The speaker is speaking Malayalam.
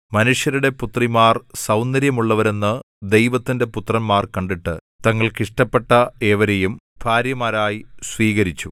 മനുഷ്യരുടെ പുത്രിമാർ സൗന്ദര്യമുള്ളവരെന്ന് ദൈവത്തിന്റെ പുത്രന്മാർ കണ്ടിട്ട് തങ്ങൾക്ക് ഇഷ്ടപ്പെട്ട ഏവരെയും ഭാര്യമാരായി സ്വീകരിച്ചു